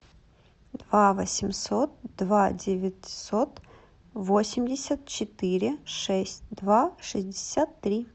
два восемьсот два девятьсот восемьдесят четыре шесть два шестьдесят три